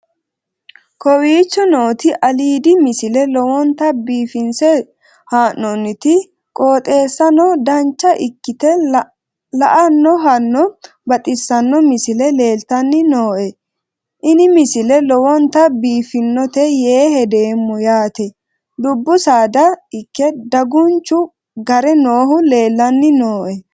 kowicho nooti aliidi misile lowonta biifinse haa'noonniti qooxeessano dancha ikkite la'annohano baxissanno misile leeltanni nooe ini misile lowonta biifffinnote yee hedeemmo yaate dubbu saada ikke dagunchu gare noohu leellanni nooe